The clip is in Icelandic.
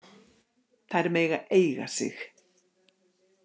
Þær mega eiga sig.